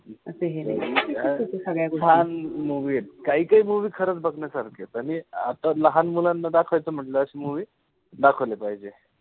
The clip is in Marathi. छान movie ए. काही काही movie खरंच बघण्यासारखीये. आता लहान मुलांना दाखवायचं म्हण्टल्यास movie दाखवले पाहिजे.